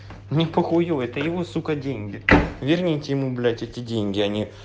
мне похую это его сука деньги верните ему блять эти деньги а не